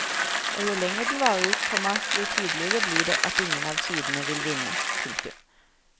Og jo lenger den varer, komma jo tydeligere blir det at ingen av sidene vil vinne. punktum